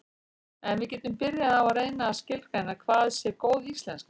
en við getum byrjað á að reyna að skilgreina hvað sé góð íslenska